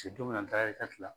don min na n taara la.